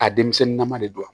A denmisɛnnin nama de don